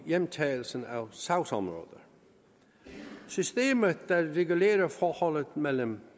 hjemtagelse af sagsområder systemet der legitimerer forholdet mellem